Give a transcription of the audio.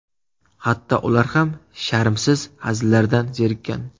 Hatto ular ham sharmsiz hazillardan zerikkan”.